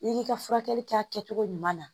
I k'i ka furakɛli kɛ a kɛcogo ɲuman na.